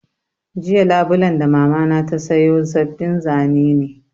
Jiya Labulen da Mamana ta sayo sabbin zane ne